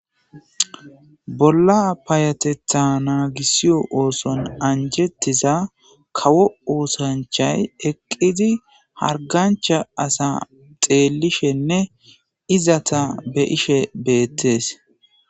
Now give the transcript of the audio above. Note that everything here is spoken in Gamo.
bolla payatetha naagissiyo ooson anjettiza kawo oosanchay eqqidi hargancha asa xeelishenne izata be ishe beettees